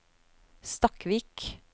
Stakkvik